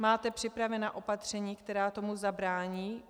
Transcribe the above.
Máte připravena opatření, která tomu zabrání?